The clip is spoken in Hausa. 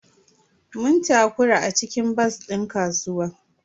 Mun takura a cikin bas din kasuwa.